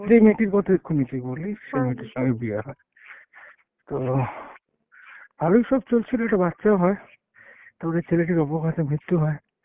যেই মেয়েটির কথা এক্ষনি তুই বললি সেই মেয়েটির সঙ্গে বিয়ে হয়। তো ভালোই সব চলছিল, একটি বাচ্চাও হয়। তারপরে ছেলেটির অপঘাতে মৃত্যু হয়।